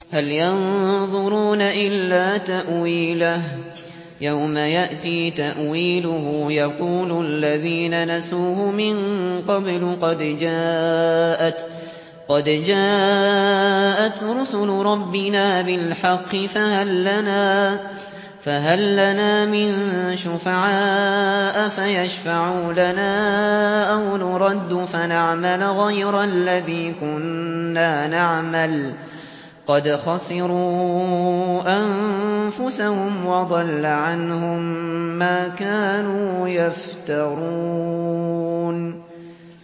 هَلْ يَنظُرُونَ إِلَّا تَأْوِيلَهُ ۚ يَوْمَ يَأْتِي تَأْوِيلُهُ يَقُولُ الَّذِينَ نَسُوهُ مِن قَبْلُ قَدْ جَاءَتْ رُسُلُ رَبِّنَا بِالْحَقِّ فَهَل لَّنَا مِن شُفَعَاءَ فَيَشْفَعُوا لَنَا أَوْ نُرَدُّ فَنَعْمَلَ غَيْرَ الَّذِي كُنَّا نَعْمَلُ ۚ قَدْ خَسِرُوا أَنفُسَهُمْ وَضَلَّ عَنْهُم مَّا كَانُوا يَفْتَرُونَ